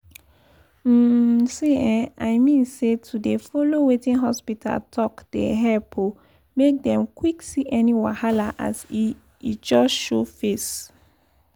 um see eh i mean say to dey follow wetin hospita talk dey epp um make dem quck see any wahala as e e just show face.